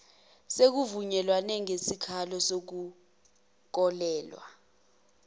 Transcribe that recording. sekuvunyelwene ngesikalo sokuholela